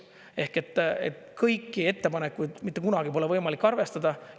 Ehk kõiki ettepanekuid mitte kunagi pole võimalik arvestada.